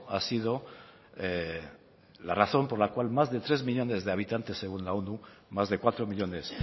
ha sido la razón por la cual más de tres millónes de habitantes según la onu más de cuatro millónes